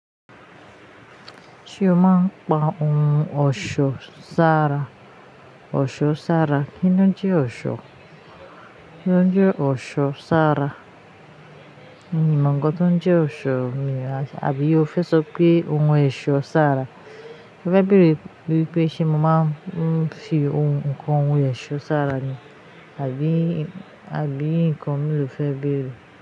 Ṣé o maa ń pa ohun ọ̀ṣọ́ sára. Ọ̀ṣọ́ sára. Kí ni ó ń jẹ́ ọ̀ṣọ́? Kí ni ó ń jẹ́ ọ̀ṣọ́ sára? Mi ò nkan tó ń jẹ́ ọ̀ṣọ́ o àbí o fẹ́ sọ pé ó ń wọn ẹ̀ṣọ́ sára? Ẹ fẹ bèèrè wípé ṣé mo maa ń fi oun kan wọn ẹ̀ṣọ́ sára ni. Àbí, àbí nǹkan mìí lò fẹ́ bèèrè?